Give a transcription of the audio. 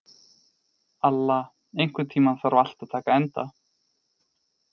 Alla, einhvern tímann þarf allt að taka enda.